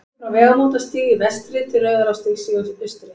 liggur frá vegamótastíg í vestri til rauðarárstígs í austri